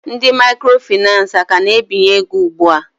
Ndị microfinace a ka na-ebinye ego ugbua?